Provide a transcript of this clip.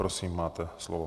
Prosím, máte slovo.